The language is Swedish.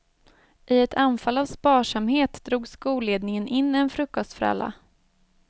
I ett anfall av sparsamhet drog skolledningen in en frukostfralla.